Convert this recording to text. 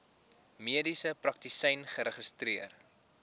mediese praktisyn geregistreer